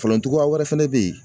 Falen cogoya wɛrɛ fɛnɛ bɛ yen